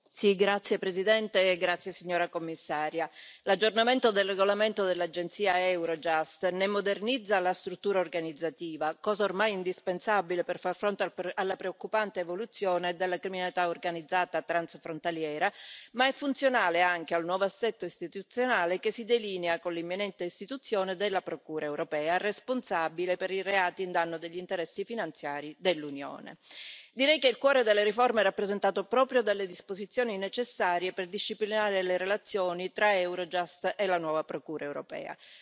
Signora Presidente, onorevoli colleghi, signora Commissario, l'aggiornamento del regolamento dell'agenzia Eurojust ne modernizza la struttura organizzativa, cosa ormai indispensabile per far fronte alla preoccupante evoluzione della criminalità organizzata transfrontaliera, ma è funzionale anche al nuovo assetto istituzionale che si delinea con l'imminente istituzione della Procura europea, responsabile per i reati a danno degli interessi finanziari dell'Unione. Direi che il cuore della riforma è rappresentato proprio dalle disposizioni necessarie per disciplinare le relazioni tra Eurojust e la nuova Procura europea.